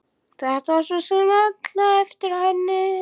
Þetta var svo sem alveg eftir henni.